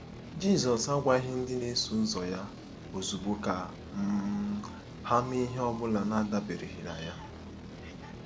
Jizọs agwaghị ndị na-eso ụzọ ya ozugbo ka um ha mee ihe ọ bụla n'adabereghị na ya.